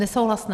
Nesouhlas.